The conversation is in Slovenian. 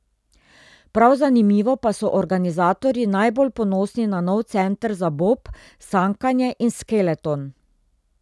Prav zanimivo pa so organizatorji najbolj ponosni na nov center za bob, sankanje in skeleton.